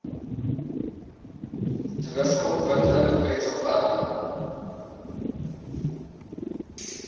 toerismeontwikkelingwetsontwerpe